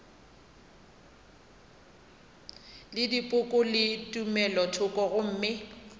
le dipoko le tumelothoko gomme